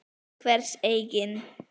Til hvers eigin